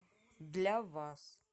для вас